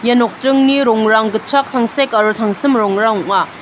ia nokdringni rongrang gitchak tangsek aro tangsim rongrang ong·a.